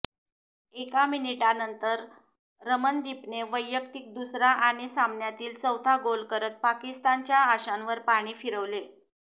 एका मिनिटानंतर रमनदिपने वैयक्तिक दुसरा आणि सामन्यातील चौथा गोल करत पाकिस्तानच्या आशांवर पाणी फिरवले